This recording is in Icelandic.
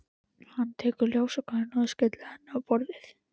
Hann tekur ljósakrónuna og skellir henni á borðið.